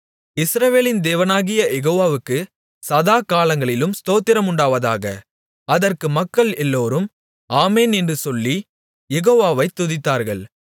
இஸ்ரவேலின் தேவனாகிய யெகோவாவுக்கு சதாகாலங்களிலும் ஸ்தோத்திரம் உண்டாவதாக அதற்கு மக்கள் எல்லோரும் ஆமென் என்று சொல்லிக் யெகோவாவை துதித்தார்கள்